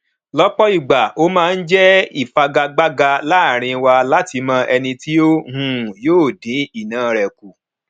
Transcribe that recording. lópò ìgbà o máa n jé ìfagagbága láàrín wa láti mọ ẹni tí o um yóò dín iná rè kù